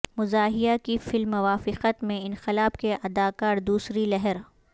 مزاحیہ کی فلم موافقت میں انقلاب کے اداکار دوسری لہر